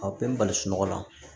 A bɛɛ bɛ bali sunɔgɔ la